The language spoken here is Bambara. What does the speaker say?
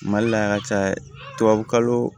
Mali la a ka ca tubabukalo